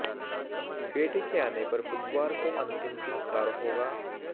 बेटी के आने पर बुधवार को अंतिम संस्कार होगा